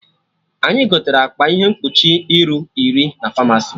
Anyị gotere akpa ihe mkpuchi iru iri na Famasi